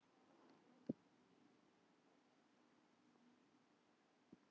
Já, ég vildi að það væri hægt, sagði ég og kyssti hana.